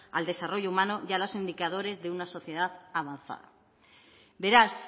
al desarrollo humanos y a los indicadores de una sociedad avanzada beraz